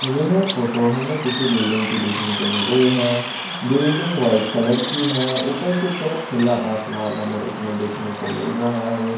ये फोटो हमे किसी बिल्डिंग की देखने को मिल रही है बिल्डिंग व्हाइट कलर की है ऊपर की तरफ खुला आसमान हमे इसमें देखने को मिल रहा है।